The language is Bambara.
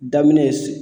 Daminɛ ye